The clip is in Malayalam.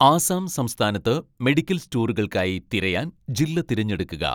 ആസാം സംസ്ഥാനത്ത് മെഡിക്കൽ സ്റ്റോറുകൾക്കായി തിരയാൻ ജില്ല തിരഞ്ഞെടുക്കുക